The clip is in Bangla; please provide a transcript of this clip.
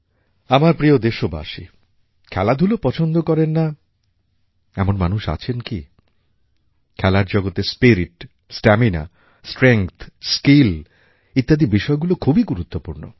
আমার প্রিয় দেশবাসী খেলাধূলা পছন্দ করে না এমন মানুষ আছেন কি খেলার জগতে স্পিরিট স্টামিনা স্ট্রেংথ স্কিল ইত্যাদি বিষয়গুলি খুবই গুরুত্বপূর্ণ